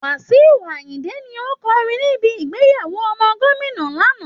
Wasiu Ayinnde ni ó kọrin níbi ìgbéyàwó ọmọ gómìnà lánàá